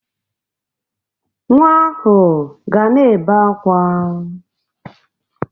Nwa ahụ ga na-ebe akwa.